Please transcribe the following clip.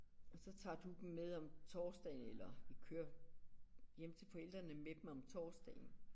Og så tager du dem med om torsdagen eller vi kører hjem til forældrene med dem om torsdagen